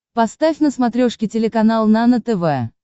поставь на смотрешке телеканал нано тв